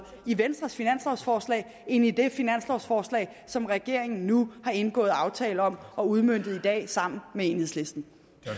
i venstres finanslovforslag end i det finanslovforslag som regeringen nu har indgået aftale om og udmøntet i dag sammen med enhedslisten